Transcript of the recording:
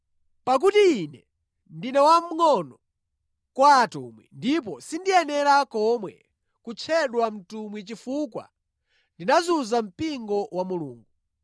Pakuti ine ndine wamngʼono kwa atumwi ndipo sindiyenera nʼkomwe kutchedwa mtumwi chifukwa ndinazunza mpingo wa Mulungu.